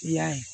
I y'a ye